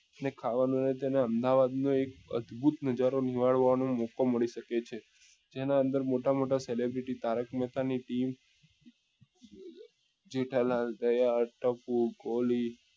ને ખાવા નું એ તમને અમદાવાદ નું એક અદ્ભુત નજરો નિહાળવા નું મોકો મળી શકે છે જેના અંદર મોટા મોટા celebrity તારક મહેતા કની team જેઠાલાલ દયા ટપુ ગોલી